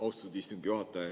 Austatud istungi juhataja!